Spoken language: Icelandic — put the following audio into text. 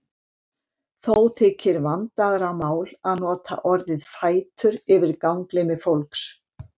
Þó þykir vandaðra mál að nota orðið fætur yfir ganglimi fólks.